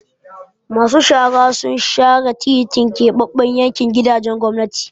Masu shara sun share titin Keɓaɓɓen yankin gidajen gwamnati.